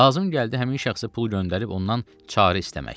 Lazım gəldi həmin şəxsə pul göndərib ondan çarı istəmək.